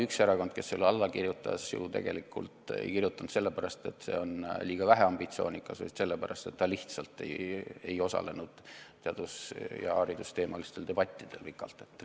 Üks erakond ei kirjutanud alla mitte selle pärast, et see oli liiga väheambitsioonikas, vaid selle pärast, et ta lihtsalt ei osalenud teadus- ja haridusteemalistel debattidel.